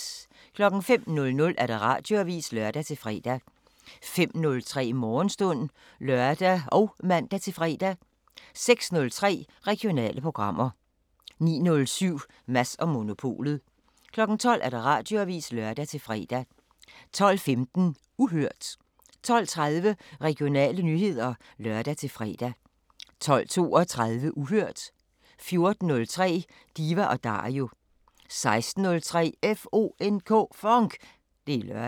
05:00: Radioavisen (lør-fre) 05:03: Morgenstund (lør og man-fre) 06:03: Regionale programmer 09:07: Mads & Monopolet 12:00: Radioavisen (lør-fre) 12:15: Uhørt 12:30: Regionale nyheder (lør-fre) 12:32: Uhørt 14:03: Diva & Dario 16:03: FONK! Det er lørdag